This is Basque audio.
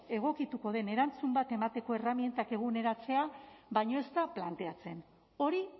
egokituko den erantzun bat emateko erramintak eguneratzea baino ez da planteatzen hori